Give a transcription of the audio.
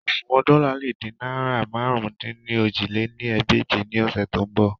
Oṣuwọn dola le de naira màrún-dín-ní-ojì lé ní ẹgbẹ́je ni ọsẹ to nbọ